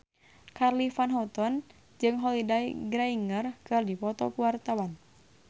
Charly Van Houten jeung Holliday Grainger keur dipoto ku wartawan